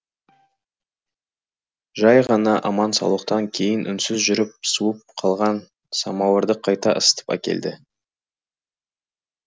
жай ғана аман саулықтан кейін үнсіз жүріп суып қалған самауырды қайта ысытып әкелді